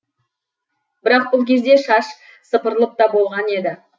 бірақ бұл кезде шаш сыпырылып та болған еді